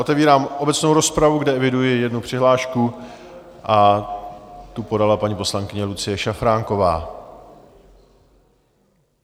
Otevírám obecnou rozpravu, kde eviduji jednu přihlášku, a tu podala paní poslankyně Lucie Šafránková.